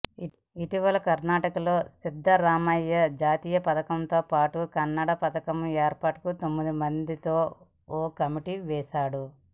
ఇటీవల కర్నాటకలో సిద్ధరామయ్య జాతీయ పతాకంతో పాటు కన్నడ పతాకం ఏర్పాటుకు తొమ్మిది మందితో ఓ కమిటీ వేశాడు